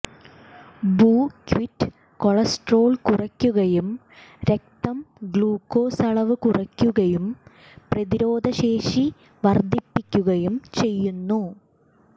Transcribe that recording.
buckwheat cholesterol കുറയ്ക്കുകയും രക്തം glucose അളവ് കുറയ്ക്കുകയും പ്രതിരോധശേഷി വർദ്ധിപ്പിക്കുകയും ചെയ്യുന്നു